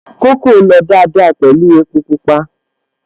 Kókò lọ dáadáa pẹ̀lú epo Pupa